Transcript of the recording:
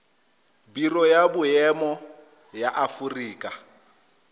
biro ya boemo ya aforika